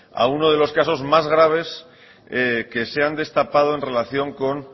a uno de los casos más graves que se han destapado en relación con